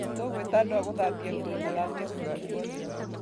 Tũgũĩta andũ a gũthambia nguo mathambie kũndũ guothe.